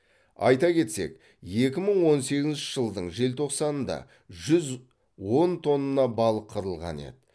айта кетсек екі мың он сегізінші жылдың желтоқсанында жүз он тонна балық қырылған еді